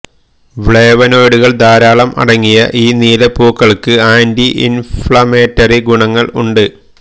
ഫ്ലേവനോയ്ഡുകൾ ധാരാളം അടങ്ങിയ ഈ നീലപ്പൂക്കൾക്ക് ആന്റി ഇൻഫ്ലമേറ്ററി ഗുണങ്ങൾ ഉണ്ട്